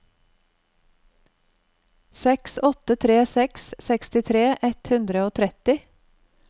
seks åtte tre seks sekstitre ett hundre og tretti